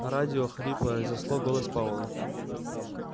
радио хрипло разнесло голос пауэлла